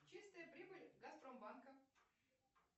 чистая прибыль газпромбанка